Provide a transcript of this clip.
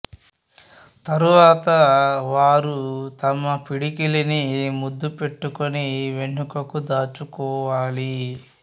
తరువాత వారు తమ పిడికిలిని ముద్దు పెట్టుకొని వెనుకకు దాచుకోవాలి